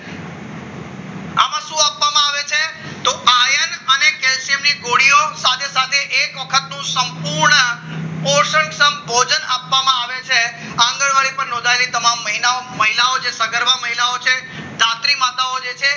તેમની ગોળીઓ સાથે સાથે એક વખતનું સંપૂર્ણ પોષક ભોજન આપવામાં આવે છે આંગણવાડી પણ નોંધાયેલી તમામ મહિનાઓ જે સગર્ભ મહિલાઓ છે રાત્રી માતાઓ જે છે